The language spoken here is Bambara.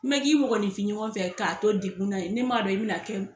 Ni ma k'i mɔgɔninfin ɲɔgɔn fɛ ka to dekunna, ne m'a dɔn i bi na kɛ